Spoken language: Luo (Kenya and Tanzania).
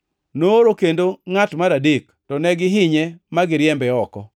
Nooro kendo ngʼat mar adek, to ne gihinye ma giriembe oko.